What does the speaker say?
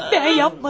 Mən etmədim!